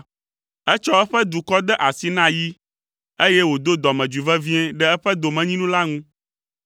Etsɔ eƒe dukɔ de asi na yi, eye wòdo dɔmedzoe vevie ɖe eƒe domenyinu la ŋu.